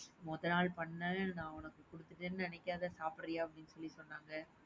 முத நாள் பண்ணது நா உனக்கு குடுத்துட்டேன்னு நினைக்காத சாப்டுரியா அப்படின்னு சொல்லி சொன்னாங்க.